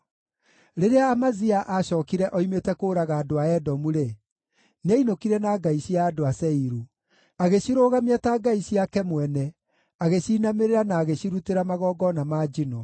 Rĩrĩa Amazia aacookire oimĩte kũũraga andũ a Edomu-rĩ, nĩainũkire na ngai cia andũ a Seiru. Agĩcirũgamia ta ngai ciake mwene, agĩciinamĩrĩra na agĩcirutĩra magongona ma njino.